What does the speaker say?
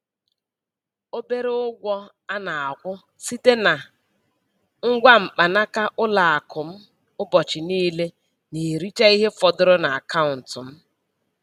Obere ụgwọ a na-akwụ site na ngwa mkpanaka ụlọ akụ m ụbọchị niile na-ericha ihe fọdụrụ n'akaụntụ m.